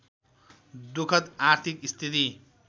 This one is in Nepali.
दुखद आर्थिक स्थिति